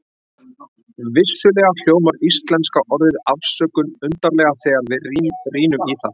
vissulega hljómar íslenska orðið afsökun undarlega þegar við rýnum í það